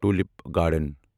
tulip garden